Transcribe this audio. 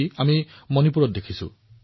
আমি মণিপুৰত ইয়াৰ এখন ছবি পাইছিলো